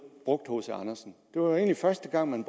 brugt hc andersen det var egentlig første gang at man